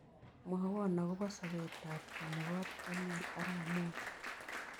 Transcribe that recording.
Mwawon ago po sobetap keny ne po daniel arap moi